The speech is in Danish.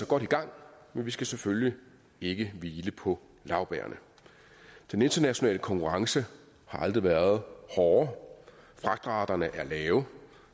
godt i gang men vi skal selvfølgelig ikke hvile på laurbærrene den internationale konkurrence har aldrig været hårdere fragtraterne er lave